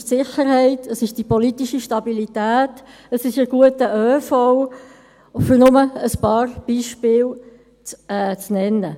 Es ist die Sicherheit, es ist die politische Stabilität, es ist ein guter ÖV, um nur einige Beispiele zu nennen.